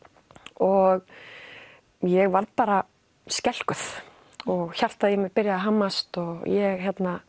og ég varð bara skelkuð og hjartað mitt byrjaði að hamast og ég